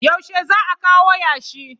Yaushe za a kawo yashi?